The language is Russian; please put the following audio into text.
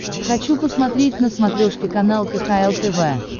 хочу посмотреть на смотрешке канал кхл тв